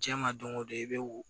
Diɲɛ ma don o don i bɛ wo